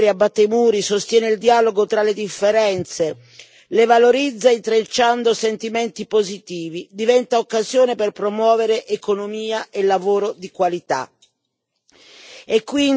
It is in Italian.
La cultura non conosce barriere, abbatte i muri, sostiene il dialogo tra le differenze, le valorizza intrecciando sentimenti positivi, diventa occasione per promuovere economia e lavoro di qualità.